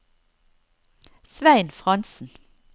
Svein Frantzen